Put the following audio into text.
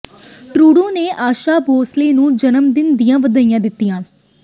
Trudeau ਨੇ ਆਸ਼ਾ ਭੋਂਸਲੇ ਨੂੰ ਜਨਮ ਦਿਨ ਦੀਆਂ ਵਧਾਈਆਂ ਦਿੱਤੀਆਂ